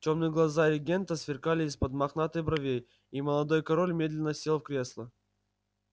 тёмные глаза регента сверкали из-под мохнатых бровей и молодой король медленно сел в кресло